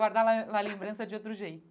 Para guardar na na lembrança de outro jeito.